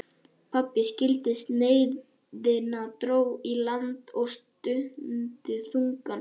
Pabbi skildi sneiðina, dró í land og stundi þungan